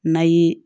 Na y'i